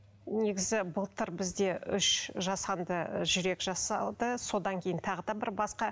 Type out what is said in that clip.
негізі былтыр бізде үш жасанды жүрек жасалды содан кейін тағы да бір басқа